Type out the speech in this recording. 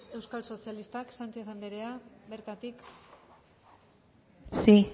euskal sozialistak sánchez anderea bertatik sí